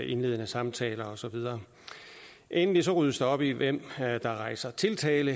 indledende samtaler og så videre endelig ryddes der op i hvem der rejser tiltale